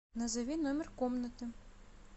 назови номер комнаты